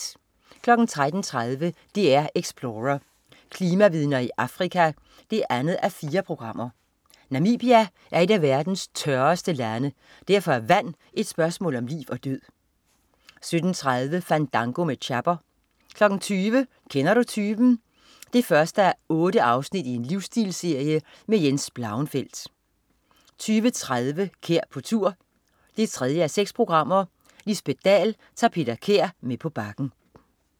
13.30 DR Explorer: Klimavidner i Afrika 2:4. Namibia er et af verdens tørreste lande. Derfor er vand et spørgsmål om liv og død 17.30 Fandango med Chapper 20.00 Kender du typen 1:8. Livstilsserie med Jens Blauenfeldt 20.30 Kær på tur 3:6. Lisbet Dahl tager Peter Kær med på Bakken